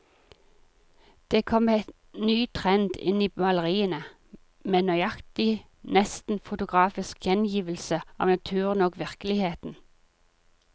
Det kom en ny trend inn i maleriene, med nøyaktig, nesten fotografisk gjengivelse av naturen og virkeligheten.